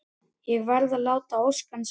Ég varð að láta ósk hans rætast.